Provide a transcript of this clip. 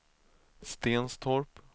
Stenstorp